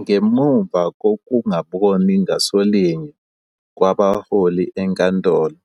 ngemuva kokungaboni ngasolinye kwabaholi enkantolo,